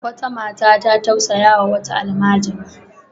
Wata mata ta tausayawa wata almajira.